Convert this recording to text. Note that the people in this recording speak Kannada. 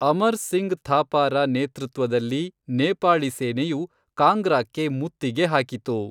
ಅಮರ್ ಸಿಂಗ್ ಥಾಪಾರ ನೇತೃತ್ವದಲ್ಲಿ ನೇಪಾಳಿ ಸೇನೆಯು ಕಾಂಗ್ರಾಕ್ಕೆ ಮುತ್ತಿಗೆ ಹಾಕಿತು.